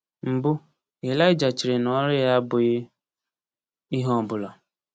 Mbụ, Elija chere na ọrụ ya abụghị ihe ọ bụla.